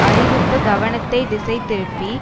அறிவிப்பு கவனத்தை திசை திருப்பி